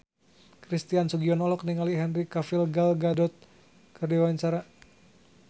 Christian Sugiono olohok ningali Henry Cavill Gal Gadot keur diwawancara